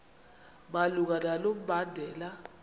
malunga nalo mbandela